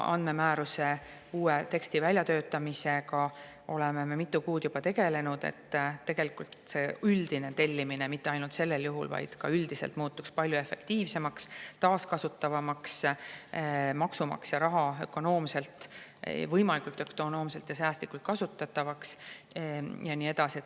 Andmemääruse uue teksti väljatöötamisega oleme me mitu kuud juba tegelenud selle nimel, et tegelikult see tellimine – mitte ainult sellel juhul, vaid ka üldiselt – muutuks palju efektiivsemaks, taaskasutatavamaks ning maksumaksja raha võimalikult ökonoomselt ja säästlikult kasutatavaks ja nii edasi.